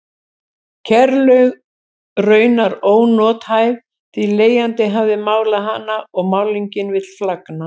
Kerlaug raunar ónothæf því leigjandi hafði málað hana og málningin vill flagna.